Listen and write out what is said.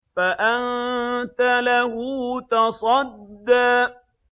فَأَنتَ لَهُ تَصَدَّىٰ